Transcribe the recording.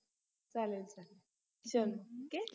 चालेल चालेल चल OKAY